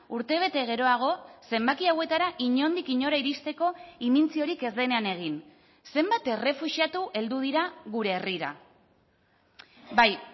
urtebete geroago zenbaki hauetara inondik inora iristeko imintziorik ez denean egin zenbat errefuxiatu heldu dira gure herrira bai